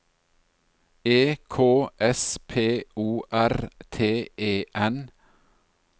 E K S P O R T E N